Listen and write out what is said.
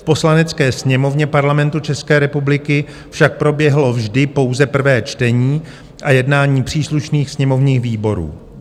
V Poslanecké sněmovně Parlamentu České republiky však proběhlo vždy pouze prvé čtení a jednání příslušných sněmovních výborů.